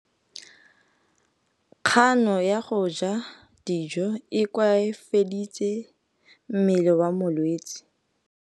Kganô ya go ja dijo e koafaditse mmele wa molwetse.